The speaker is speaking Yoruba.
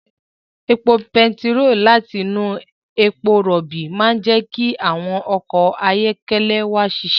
Epo bentiroolu láti inú epo rọ̀bì máa ń jẹ́ kí àwọn ọkọ̀ ayọ́kẹ́lẹ́ wa ṣiṣẹ́